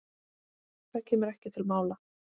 Það kemur ekki til mála.